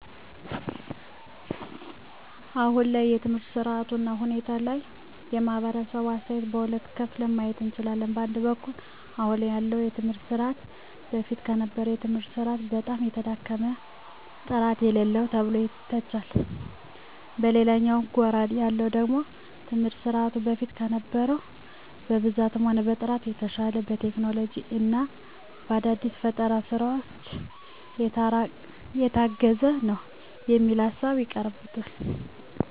አሁን ላይ በትምህርት ስርዓቱ እና ሁኔታ ላይ የማህበረሰቡ አስተያየት በሁለት ከፍለን ማየት እንችላለን። በአንድ በኩል አሁን ላይ ያለውን የትምህርት ስርዓት በፊት ከነበረው የትምህርት ስርዓት በጣም የተዳከመ፣ ጥራት የሌለው ተብሎ ይተቻል። በሌላኛው ጎራ ያሉት ደግሞ ትምህርት ስርዓቱ በፊት ከነበረው በብዛትም ሆነ በጥራትም የተሻለ፣ በቴክኖሎጂ እና በአዳዲስ ፈጠራዎች የታገዘ ነው የሚል ሀሳብ ያቀርባሉ።